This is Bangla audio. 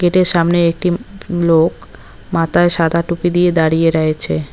গেট -এর সামনে একটি উম লোক মাথায় সাদা টুপি দিয়ে দাঁড়িয়ে রয়েছে।